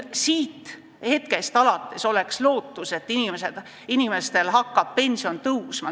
Seetõttu oleks lootus, et inimeste pension hakkab tõusma.